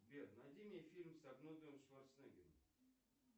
сбер найди мне фильм с арнольдом шварценеггером